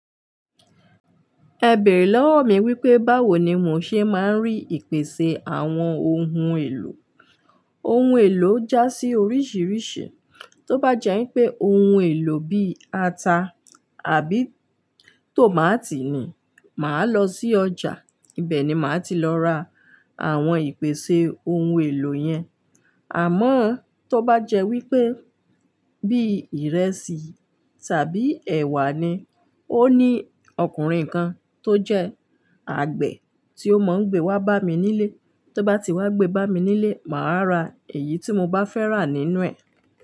Ẹ bèrè lọ́wọ́ mi wípé báwo ni mò ń ṣe máa ń rí ìpèsè àwọn ohun èlò. Ohun èlò já sí oríṣìíríṣìí, tó bá jẹ́ wípé ohun èlò bí ata àbí tòmátì ni, màá lọ sí ọjà, ibẹ̀ ni màá ti lọ ra àwọn ìpèsè ohun èlò yẹn. Àmọ́ tó bá jẹ́ wípé bí ìrẹsì tàbí ẹ̀wà ni, ó ní ọkùnrin kan tó jẹ́ àgbẹ̀ tí ó máa ń gbé wá bá mi nílé, tó bá ti wá gbé bá mi nílé, màá ra èyí tí mo bá fẹ́ rà nínú ẹ̀.